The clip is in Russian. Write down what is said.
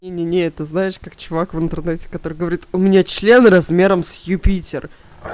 не не не это знаешь как чувак в интернете который говорит у меня член размером с юпитер